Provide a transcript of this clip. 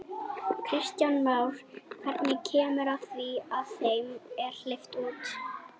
Kristján Már: Hvenær kemur að því að þeim er hleypt út?